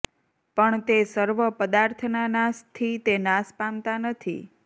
પણ તે સર્વ પદાર્થ ના નાશથી તે નાશ પામતા નથી